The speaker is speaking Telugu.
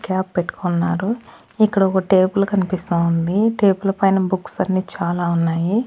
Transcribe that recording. క్యాప్ పెట్టుకున్నారు ఇక్కడ ఒక టేబుల్ కనిపిస్తా ఉంది టేబుల్ పైన బుక్స్ అన్నీ చాలా ఉన్నాయి.